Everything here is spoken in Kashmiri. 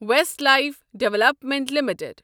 Westlife development limited